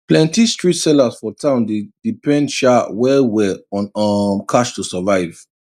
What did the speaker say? plenty street sellers for town dey depend sha well well on um cash to survive